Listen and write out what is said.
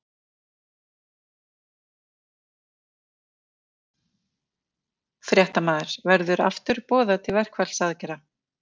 Fréttamaður: Verður aftur boðað til verkfallsaðgerða?